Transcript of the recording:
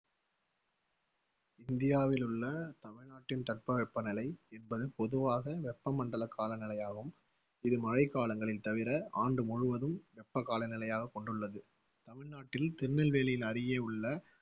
இந்தியாவிலுள்ள, தமிழ்நாட்டின் தட்பவெப்பநிலை என்பது பொதுவாக வெப்பமண்டலக் காலநிலையாகும். இது மழைக்காலங்களில் தவிர ஆண்டு முழுவதும் வெப்ப காலநிலையாகக் கொண்டுள்ளது. தமிழ்நாட்டில் திருநெல்வேலி, அருகே உள்ள